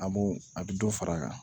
A b'o a bɛ dɔ far'a kan